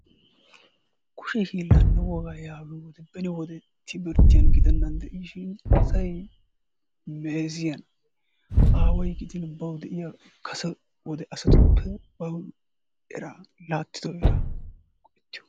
Kushe hiillaanne wogaa heeraa lo"otuppe beni wode timirttiyan gidenaan dishshin asay meeziyana, Aaway gidin bawu diya kase wode asatuppe bawu eraa laattido eraa go'ettiyogaa.